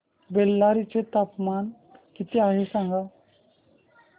बेल्लारी चे तापमान किती आहे सांगा